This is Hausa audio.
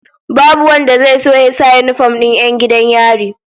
Babu wanda zai so ya sa yinifom din 'yan gidan yari